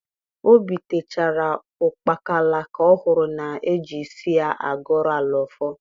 Obitechara ukpakala ka ohuru n’eji isi ya agoro ala ọfọ.